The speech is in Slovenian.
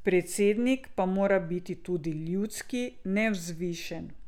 Predsednik pa mora biti tudi ljudski, nevzvišen.